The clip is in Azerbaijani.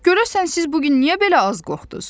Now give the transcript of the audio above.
Görəsən, siz bu gün niyə belə az qorxdunuz?